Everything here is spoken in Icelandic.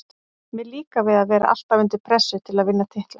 Mér líkar við að vera alltaf undir pressu til að vinna titla.